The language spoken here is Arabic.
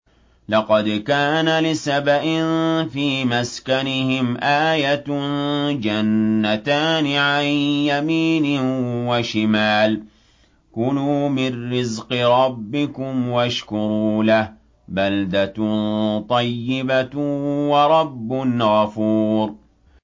لَقَدْ كَانَ لِسَبَإٍ فِي مَسْكَنِهِمْ آيَةٌ ۖ جَنَّتَانِ عَن يَمِينٍ وَشِمَالٍ ۖ كُلُوا مِن رِّزْقِ رَبِّكُمْ وَاشْكُرُوا لَهُ ۚ بَلْدَةٌ طَيِّبَةٌ وَرَبٌّ غَفُورٌ